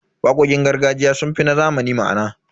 Waƙoƙin gargajiya sun fi na zamani ma'ana.